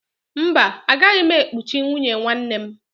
Mba, aga m ekuchi nwunye nwanne m